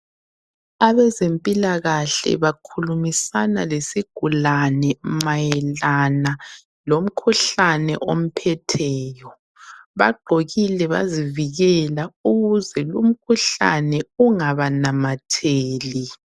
Abezempilakahle bakhulumisana lesigulane mayelana lomkhuhlane omphetheyo. Bagqokile bazivikela ukuze lumkhuhlane ungabanamatheli.